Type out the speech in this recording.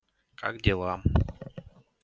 как дела